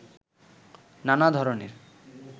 নানা ধরনের